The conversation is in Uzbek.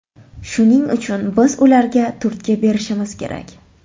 Shuning uchun biz ularga turtki berishimiz kerak.